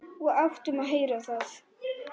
Og áttum að heyra það.